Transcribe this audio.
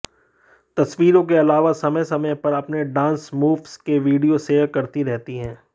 तस्वीरों के अलावा समय समय पर अपने डांस मूव्स के वीडियो शेयर करती रहती हैं